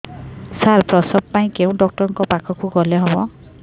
ସାର ପ୍ରସବ ପାଇଁ କେଉଁ ଡକ୍ଟର ଙ୍କ ପାଖକୁ ଗଲେ ଭଲ ହେବ